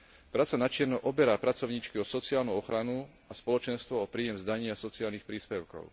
Práca načierno oberá pracovníčky o sociálnu ochranu a spoločenstvo o príjem z daní a sociálnych príspevkov.